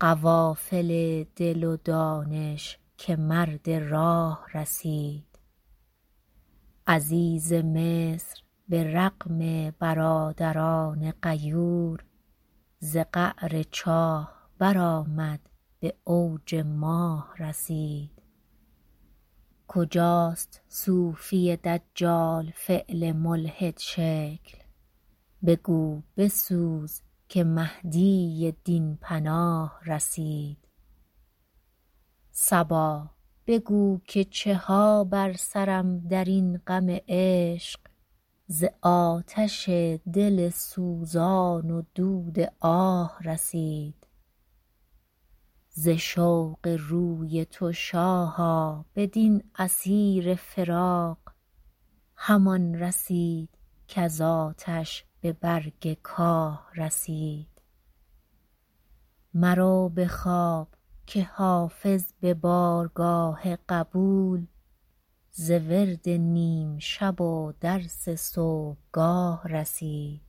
قوافل دل و دانش که مرد راه رسید عزیز مصر به رغم برادران غیور ز قعر چاه برآمد به اوج ماه رسید کجاست صوفی دجال فعل ملحدشکل بگو بسوز که مهدی دین پناه رسید صبا بگو که چه ها بر سرم در این غم عشق ز آتش دل سوزان و دود آه رسید ز شوق روی تو شاها بدین اسیر فراق همان رسید کز آتش به برگ کاه رسید مرو به خواب که حافظ به بارگاه قبول ز ورد نیم شب و درس صبحگاه رسید